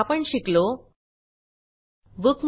आपण शिकलो Bookmarks